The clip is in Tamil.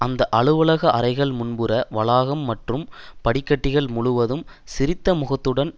அந்த அலுவலக அறைகள் முன்புற வளாகம் மற்றும் படிக்கட்டுகள் முழுவதும் சிரித்த முகத்துடன்